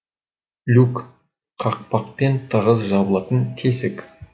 люк қақпақпен тығыз жабылатын тесік